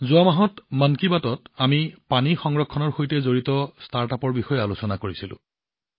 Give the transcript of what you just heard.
যোৱা মাহত মন কী বাতত আমি পানী সংৰক্ষণৰ সৈতে জড়িত ষ্টাৰ্টআপৰ বিষয়ে আলোচনা কৰিছিলোঁ